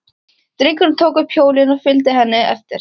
Drengirnir tóku upp hjólin og fylgdu henni eftir.